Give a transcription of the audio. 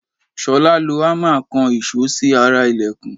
Ṣolá lo hámà kan ìṣó sí ara ìlẹ̀kùn.